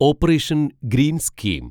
operation greens scheme